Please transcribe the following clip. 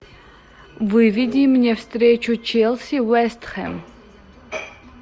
выведи мне встречу челси вест хэм